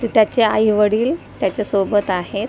त त्याचे आई वडील त्याच्या सोबत आहेत .